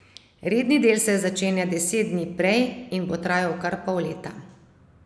Redni del se začenja deset dni prej in bo trajal kar pol leta.